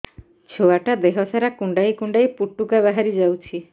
ଛୁଆ ଟା ଦେହ ସାରା କୁଣ୍ଡାଇ କୁଣ୍ଡାଇ ପୁଟୁକା ବାହାରି ଯାଉଛି